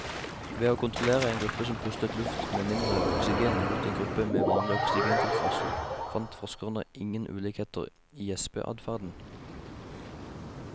Ved å kontrollere en gruppe som pustet luft med mindre oksygen mot en gruppe med vanlig oksygentilførsel fant forskerne ingen ulikheter i gjespeadferden.